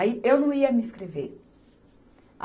Aí, eu não ia me inscrever.